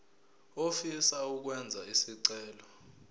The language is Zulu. ofisa ukwenza isicelo